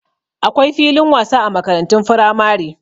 Akwai filin wasa a makarantun firamare.